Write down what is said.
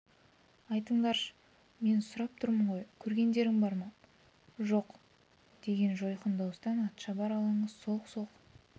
айтыңдаршы мен сұрап тұрмын ғой көргендерің бар ма жоқ деген жойқын дауыстан атшабар алаңы солқ-солқ